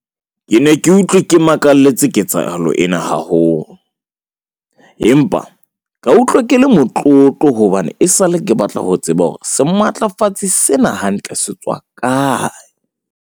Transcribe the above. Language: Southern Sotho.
Ke ne ke utlwe ke makaletse ketsahalo ena haholo , empa ka utlwa ke le motlotlo hobane esale ke batla ho tseba hore sematlafatsi sena hantle se tswa kae.